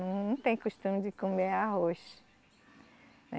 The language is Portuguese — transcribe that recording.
Não tem costume de comer arroz.